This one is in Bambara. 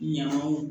Ɲangaw